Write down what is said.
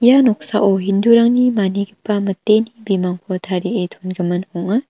ia noksao hindu-rangni manigipa miteni bimangko tarie dongimin ong·a.